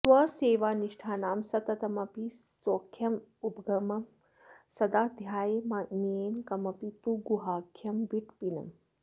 स्वसेवानिष्ठानां सततमपि सौख्योपगमकं सदा ध्यायाम्येनं कमपि तु गुहाख्यं विटपिनम्